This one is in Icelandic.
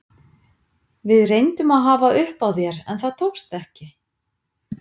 Við reyndum að hafa upp á þér en það tókst ekki.